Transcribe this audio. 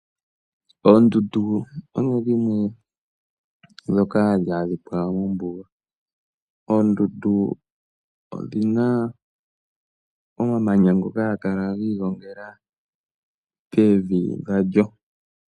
Oondundu odho dhimwe dhoka hadhi adhikwa mombuga. Oondundu odhina omamanya ngoka haga kala giigongela pevi dhalyo.